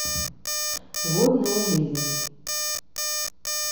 водная жизнь